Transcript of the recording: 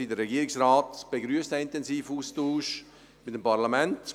Der Regierungsrat begrüsst diesen intensiven Austausch mit dem Parlament.